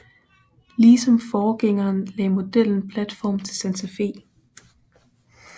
Ligesom forgængeren lagde modellen platform til Santa Fe